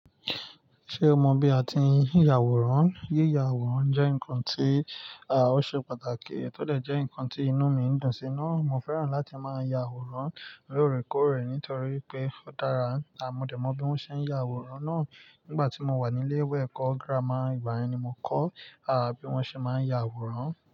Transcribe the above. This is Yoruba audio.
Ṣé o mọ bí a ti ń ya àwòrán? Yíya àwòrán jẹ́ nǹkan tí, à, ó ṣe pàtàkì tòdè jẹ́ ǹkan tí inú mi ń dùn sí naa. Mo fẹ́ràn láti máa ya àwòrán lóòrèkóòrè nítorí pé ó dára. Àmo dẹ̀ mọ bí wọ́n ṣe ń ya àwòrán náà nígbà tí mo wà ní ilé ìwé ẹ̀kọ́ gírámà. Ìgbà yẹn ni mo kọ́, à, bí wọ́n ṣe máa ń ya àwòrán.